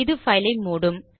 இது பைல் ஐ மூடும்